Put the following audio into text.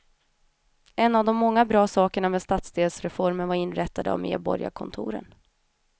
En av de många bra sakerna med stadsdelsreformen var inrättandet av medborgarkontoren.